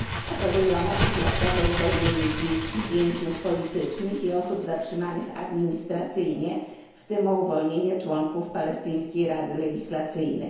Apeluję o natychmiastowe uwolnienie dzieci, więźniów politycznych i osób zatrzymanych administracyjnie, w tym o uwolnienie członków Palestyńskiej Rady Legislacyjnej.